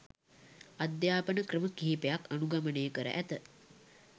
අධ්‍යාපන ක්‍රම කිහිපයක් අනුගමනය කර ඇත.